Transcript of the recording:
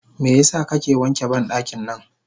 Meyasa kake wanke bandaki nan?